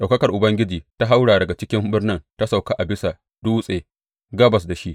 Ɗaukakar Ubangiji ta haura daga cikin birnin ta sauka a bisa dutse gabas da shi.